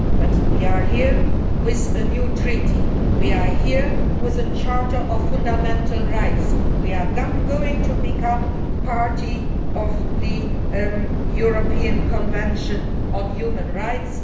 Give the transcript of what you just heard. But we are here with a new Treaty, we are here with a Charter of Fundamental Rights, we are going to become a party to the European Convention on Human Rights.